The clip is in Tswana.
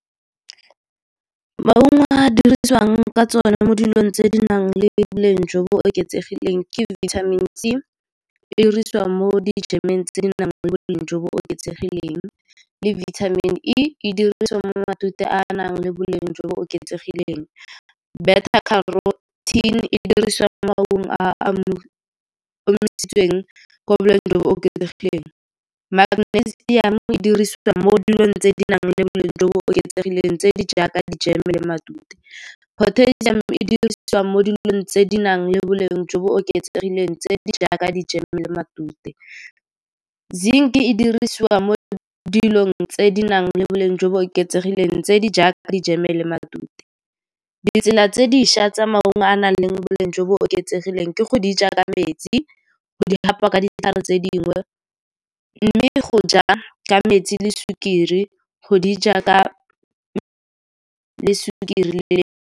Maungo a dirisiwang ka tsone mo dilong tse di nang le boleng jo bo oketsegileng ke vitamin C, e dirisiwa mo tse di nang le boleng jo bo oketsegileng, le vitamin E e dirisiwa mo matute a nang le boleng jo bo oketsegileng. Beta carotene e dirisiwa mo maungong a a omisitsweng kwa boleng jo bo oketsegileng. Magnesium e dirisiwa mo dilong tse di nang le boleng jo bo oketsegileng tse di jaaka di-jam-e le matute. Potassium e dirisiwa mo dilong tse di nang le boleng jo bo oketsegileng tse di jaaka di-jam-e le matute. Zinc e dirisiwa mo dilong tse di nang le boleng jo bo oketsegileng tse di jaaka di-jam-e le matute. Ditsela tse di šwa tsa maungo a nang le boleng jo bo oketsegileng ke go di ja ka metsi, go di hapa ka ditlhare tse dingwe, mme go ja ka metsi le sukiri, go di ja ka sukiri le.